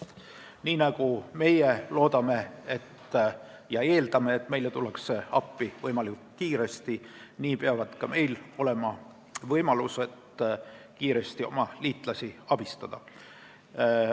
Nii nagu meie loodame ja eeldame, et meile tullakse appi võimalikult kiiresti, peavad ka meil olema võimalused kiiresti oma liitlasi abistada.